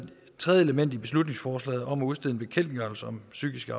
tredje element i beslutningsforslaget om at udstede en bekendtgørelse om psykisk